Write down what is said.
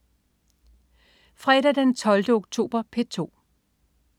Fredag den 12. oktober - P2: